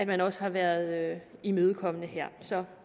man også har været imødekommende her så